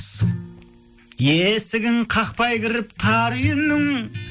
есігін қақпай кіріп тар үйінің